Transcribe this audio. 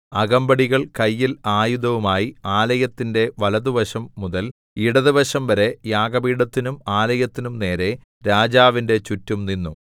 അകമ്പടികൾ കയ്യിൽ ആയുധവുമായി ആലയത്തിന്റെ വലത്തുവശം മുതൽ ഇടത്തുവശംവരെ യാഗപീഠത്തിനും ആലയത്തിനും നേരെ രാജാവിന്റെ ചുറ്റും നിന്നു